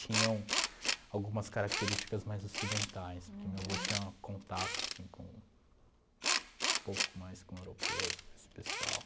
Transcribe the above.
Tinham algumas características mais ocidentais, porque meu avô tinha contato, assim, com um pouco mais com europeus, com esse pessoal.